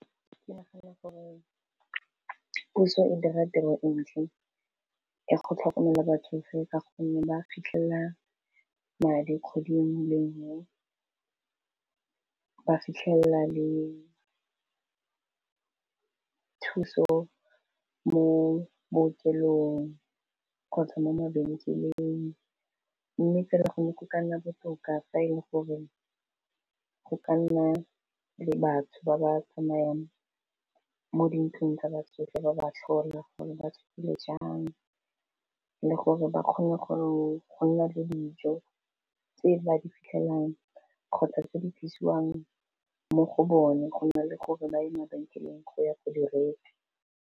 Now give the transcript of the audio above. Ke nagana gore puso e dira tiro e ntle go tlhokomela batsofe ka gonne ba fitlhelela madi kgwedi engwe le engwe, ba fitlhelela le thuso mo bookelong, kgotsa mo mabenkeleng mme fa re go ne go ka nna botoka fa e le gore go ka nna le batho ba ba tsamayang mo dintlong tsa batsofe, ba ba tlhola gore ba tsogile jang le gore ba kgone gore go nna le dijo tse ba di fitlhelang kgotsa tse di tlisiwang mo go bone go nna le gore ba ye mabenkeleng go ya go direka.